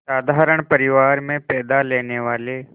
साधारण परिवार में पैदा लेने वाले